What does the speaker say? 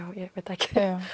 ekki